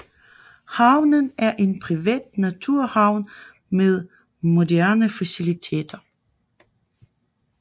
Havnen er en privat naturhavn med moderne facilliteter